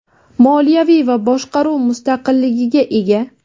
moliyaviy va boshqaruv mustaqilligiga ega.